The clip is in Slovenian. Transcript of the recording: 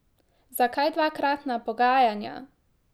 Zakaj dvakratna pogajanja?